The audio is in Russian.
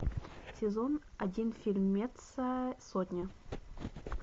сезон один фильмеца сотня